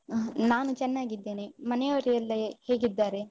ಹ ನಾನು ಚೆನ್ನಾಗಿದ್ದೇನೆ. ಮನೆ ಅವ್ರು ಎಲ್ಲ ಹೇ~ ಹೇಗಿದ್ದಾರೆ?